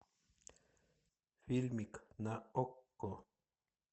фильмик на окко